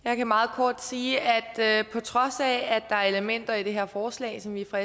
jeg kan meget kort sige at vi på trods af at der er elementer i det her forslag som vi fra